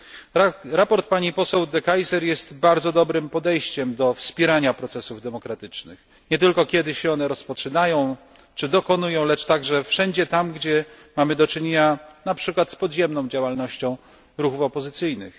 Sprawozdanie pani poseł De Keyser jest bardzo dobrym podejściem do wspierania procesów demokratycznych, nie tylko kiedy się one rozpoczynają, czy dokonują, lecz także wszędzie tam, gdzie mamy do czynienia np. z podziemną działalnością ruchów opozycyjnych.